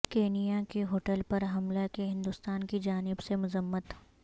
Kenya کی hotel پر حملہ کی ہندوستان کی جانب سے مذمت